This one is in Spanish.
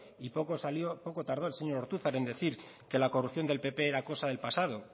y poco tardó el señor ortuzar en decir que la corrupción del pp era cosa del pasado